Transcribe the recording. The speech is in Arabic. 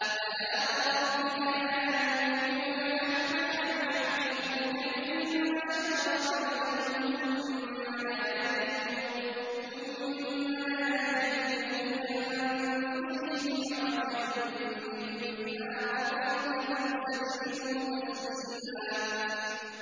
فَلَا وَرَبِّكَ لَا يُؤْمِنُونَ حَتَّىٰ يُحَكِّمُوكَ فِيمَا شَجَرَ بَيْنَهُمْ ثُمَّ لَا يَجِدُوا فِي أَنفُسِهِمْ حَرَجًا مِّمَّا قَضَيْتَ وَيُسَلِّمُوا تَسْلِيمًا